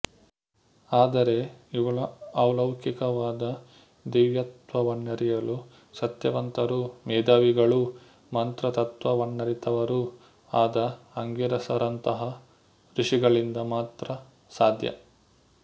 ಆದರೆ ಇವಳ ಅಲೌಕಿಕವಾದ ದಿವ್ಯತ್ತ್ವವನ್ನರಿಯಲು ಸತ್ಯವಂತರೂ ಮೇಧಾವಿಗಳು ಮಂತ್ರ ತತ್ತ್ವವನ್ನರಿತವರೂ ಆದ ಆಂಗಿರಸರಂತಹ ಋಷಿಗಳಿಂದ ಮಾತ್ರ ಸಾಧ್ಯ